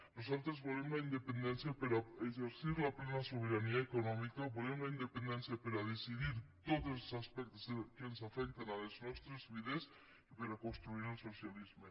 nosaltres volem la independència per exercir la plena sobirania econòmica volem la independència per a decidir tots els aspectes que afecten les nostres vides i per a construir el socialisme